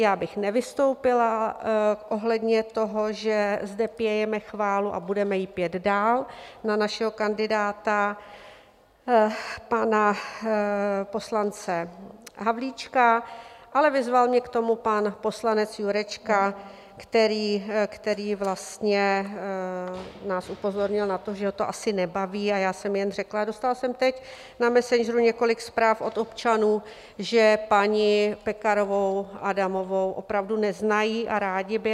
Já bych nevystoupila ohledně toho, že zde pějeme chválu a budeme ji pět dál na našeho kandidáta, pana poslance Havlíčka, ale vyzval mě k tomu pan poslanec Jurečka, který vlastně nás upozornil na to, že ho to asi nebaví, a já jsem jen řekla: Dostala jsem teď na Messenger několik zpráv od občanů, že paní Pekarovou Adamovou opravdu neznají, a rádi by.